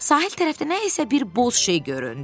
Sahil tərəfdə nə isə bir boz şey göründü.